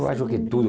Eu acho que tudo.